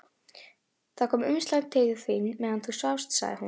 Það kom umslag til þín meðan þú svafst, sagði hún.